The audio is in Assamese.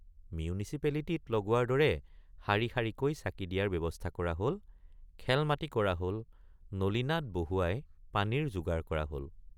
মিউনিচিপেলিটীত লগোৱাৰ দৰে শাৰী শাৰীকৈ চাকি দিয়াৰ ব্যৱস্থা হল খেলমাটি কৰা হল নলীনাদ বহুৱাই পানীৰ যোগাৰ কৰা হল।